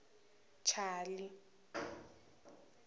chali